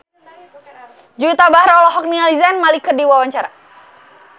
Juwita Bahar olohok ningali Zayn Malik keur diwawancara